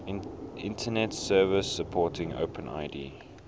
internet services supporting openid